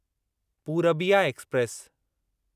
Purbiya express